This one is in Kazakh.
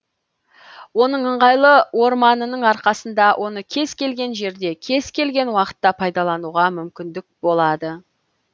оның ыңғайлы орманының арқасында оны кез келген жерде кез келген уақытта пайдалануға мүмкіндік болады